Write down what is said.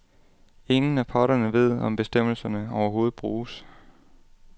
Ingen af parterne ved, om bestemmelserne overhovedet bruges.